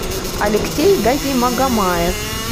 алексей газимагомаев